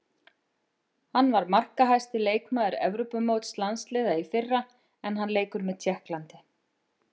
Hann var markahæsti leikmaður Evrópumóts landsliða í fyrra en hann leikur með Tékklandi.